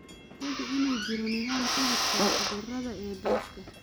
Hubi inuu jiro nidaam ka-hortagga cudurrada ee daashka.